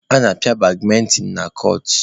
A na-apịa badmịntịn na kọọtụ.